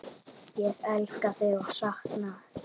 Ég elska þig og sakna.